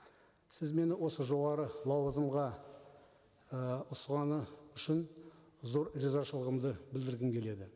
сіз мені осы жоғары лауазымға ы үшін зор ризашылығымды білдіргім келеді